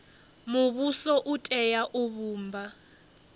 muvhuso u tea u vhumba